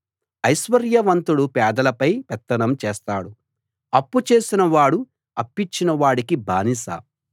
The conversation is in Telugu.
ఐశ్వర్యవంతుడు పేదలపై పెత్తనం చేస్తాడు అప్పుచేసిన వాడు అప్పిచ్చిన వాడికి బానిస